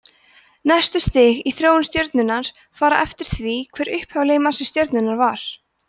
næstu stig í þróun stjörnunnar fara eftir því hver upphaflegur massi stjörnunnar var